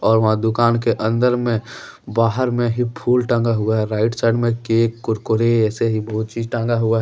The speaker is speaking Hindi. और वहाँ दुकान के अंदर में बाहर में ही फूल टंगा हुआ है राइट साइड में केक कुरकुरे ऐसे ही बहोत चीज टांगा हुआ है।